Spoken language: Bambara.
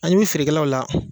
A ɲɛ b'i feerekɛlaw la.